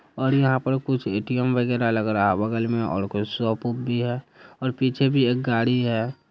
और यहाँ पर कुछ ए.टी.एम. वगेरा लग रहा है बगल में और कुछ शॉप वोप भी है और पीछे भी एक गाड़ी है ।